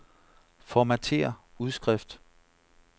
Formatér udskrift.